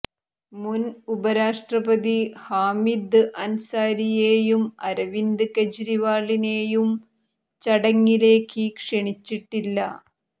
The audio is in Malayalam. മുൻ ഉപരാഷ്ട്രപതി ഹാമിദ് അൻസാരിയെയും അരവിന്ദ് കെജ്രിവാളിനെയും ചടങ്ങിലേക്ക് ക്ഷണിച്ചിട്ടില്ല